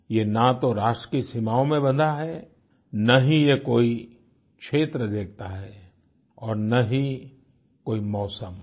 ये ना तो राष्ट्र की सीमाओं में बंधा है न ही ये कोई क्षेत्र देखता है और न ही कोई मौसम